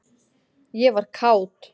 ég var kát.